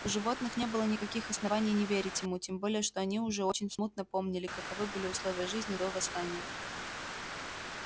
у животных не было никаких оснований не верить ему тем более что они уже очень смутно помнили каковы были условия жизни до восстания